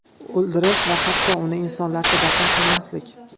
O‘ldirish va hatto uni insonlarcha dafn qilmaslik.